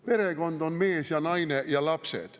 Perekond on mees ja naine ja lapsed.